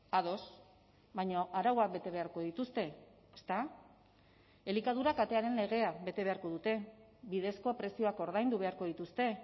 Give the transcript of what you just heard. ados baina arauak bete beharko dituzte ezta elikadura katearen legea bete beharko dute bidezko prezioak ordaindu beharko dituzte